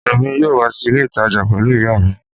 Èmi yóò wá sí ilé ìtajà pẹlú ìyá mi